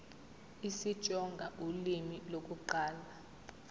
isitsonga ulimi lokuqala